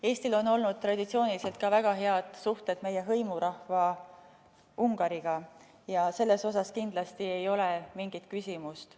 Eestil on olnud traditsiooniliselt väga head suhted ka meie hõimurahva Ungariga ja selles kindlasti ei ole mingit küsimust.